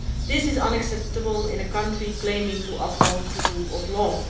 This is unacceptable in a country claiming to uphold the rule of law.